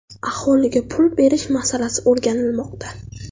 Aholiga pul berish masalasi o‘rganilmoqda.